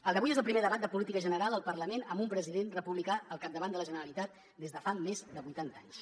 el d’avui és el primer debat de política general al parlament amb un president republicà al capdavant de la generalitat des de fa més de vuitanta anys